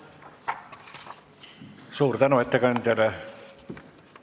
Suur tänu ettekandjale!